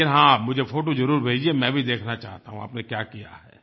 लेकिन हाँ आप मुझे फ़ोटो ज़रूर भेजिए मैं भी देखना चाहता हूँ आपने क्या किया है